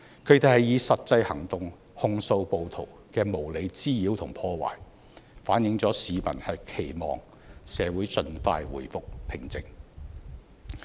他們以實際行動控訴暴徒的無理滋擾和破壞，反映了市民期望社會盡快回復平靜。